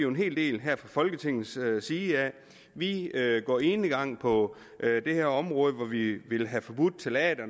en hel del her fra folketingets side vi går enegang på det her område hvor vi jo vil have forbudt ftalater